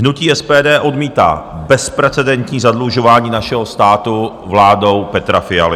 Hnutí SPD odmítá bezprecedentní zadlužování našeho státu vládou Petra Fialy.